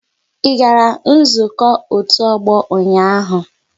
I gara nzukọ otu ọgbọ ụnyaahụ?